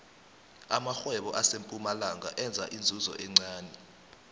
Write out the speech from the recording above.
amarhwebo asempumalanga enza inzuzo encani